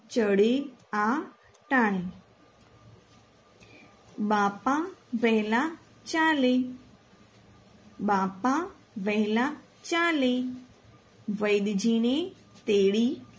ચડે આ ટાણે બાપ વહેલા ચાલે બાપા વહેલા ચાલે વૈધજીને તેડી ચડે આ ટાણે